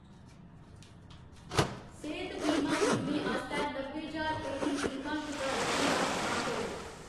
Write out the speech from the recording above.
सेह्‌त बीमा बीमे आस्तै नब्बे ज्हार रपेऽ दी बीमा शुदा रकम दा चुनाऽ करो।